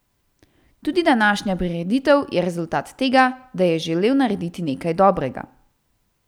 Tudi današnja prireditev je rezultat tega, da je želel narediti nekaj dobrega.